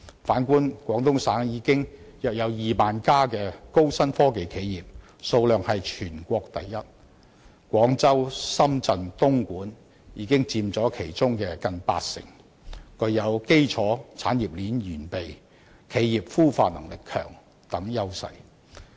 反觀廣東省現有約2萬家高新科技企業，數量是全國第一，廣州、深圳、東莞已佔其中近八成，具有基礎產業鏈完備、企業孵化能力強等優勢。